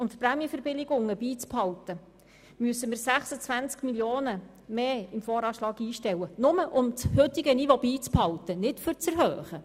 Um die Prämienverbilligungen beizubehalten, müssten wir 26 Mio. Franken mehr im VA einstellen – nur um das heutige Niveau zu halten, nicht um die Verbilligungen zu erhöhen!